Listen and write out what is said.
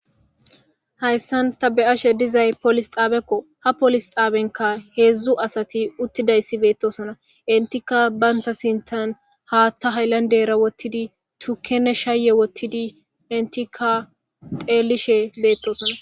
Hayssanta be ashe dizay polis xaabekko ha polis xaabenka heedzdzu asati uttidayssi beettosona intika baynta sintan haatta haylandera wottidi tukkenne shaaye wottidi intika xeelishe beettosona.